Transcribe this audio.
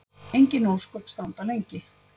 Engin ósköp standa lengi.